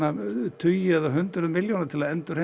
tugi eða hundruð milljóna til að endurheimta